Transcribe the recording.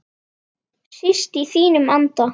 Síst í þínum anda.